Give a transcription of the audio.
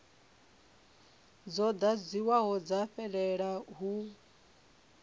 dzo ḓadziwaho dza fhelela hu